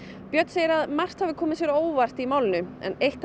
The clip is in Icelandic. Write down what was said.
björn segir margt hafa komið sér á óvart við málið en eitt